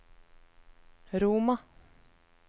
Roma